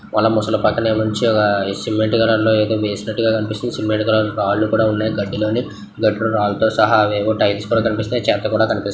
రాకపోవడంతో ఫోన్ల నుంచి పాటన్ నీల నీల కే ముస వెళ్తుంది. మొదలు పక్క నుంచి ఒక ఘటన గట్టి షాక్ తగిలినట్లుగా కనిపిస్తోంది. మామూలు పక్కనే మంచిగా సిమెంటు ధరలు మిశ్రమంగా కనిపించే మెడికల్ కాలేజ్ లో ఉండే గదిలోనే ఘర్ రాంగ్ సహా వేంకటేశ్వర శతకము తెలిసిందే.